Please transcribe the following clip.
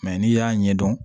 Mɛ n'i y'a ɲɛdɔn